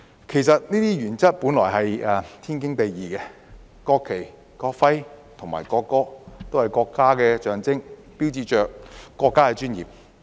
其實這些原則本來是天經地義的，國旗、國徽和國歌均是國家的象徵，標誌着國家的尊嚴。